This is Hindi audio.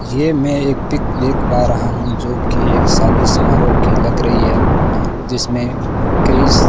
यह मैं एक पिक देख पा रहा हूं जो की एक शादी समारोह की लग रही है जिसमें कई --